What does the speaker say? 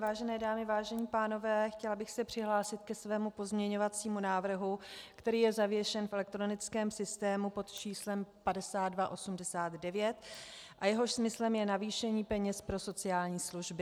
Vážené dámy, vážení pánové, chtěla bych se přihlásit ke svému pozměňovacímu návrhu, který je zavěšen v elektronickém systému pod číslem 5289 a jehož smyslem je navýšení peněz pro sociální služby.